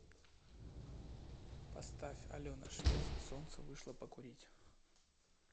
поставь алена швец солнце вышло покурить